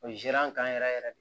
O ye zere an kan yɛrɛ yɛrɛ yɛrɛ de